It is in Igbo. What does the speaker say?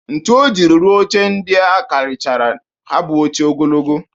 Ntu o jiri rụa oche ndịa karịchara ha bụ oche ogologo